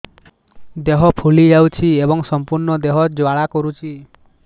ଦେହ ଫୁଲି ଯାଉଛି ଏବଂ ସମ୍ପୂର୍ଣ୍ଣ ଦେହ ଜ୍ୱାଳା କରୁଛି